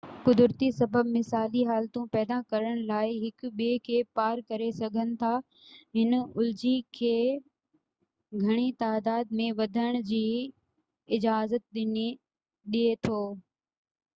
قدرتي سبب مثالي حالتون پيدا ڪرڻ لاءِ هڪ ٻئي کي پار ڪري سگهن ٿا هن الجي کي گهڻي تعداد ۾ وڌڻ جي اجازت ڏي ٿو